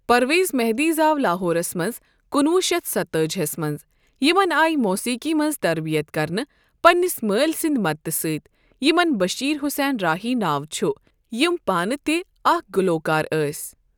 پرویز مہدی زاو لاہورس منٛز ۱۹۴۷ ہس منٛز۔ یمن آیہِ موسیقی منٛز تربیت کرنہٕ پنٛنس مٲلۍ سٕنٛدی مدتہٕ سۭتی، یمن بشیر حُسین راہی ناو چھُ، یِم پانہٕ تہِ اَکھ گلوٗکار ٲسی.